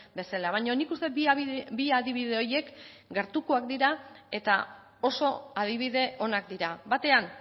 bezala baina nik uste dut bi adibide horiek gertukoak dira eta oso adibide onak dira batean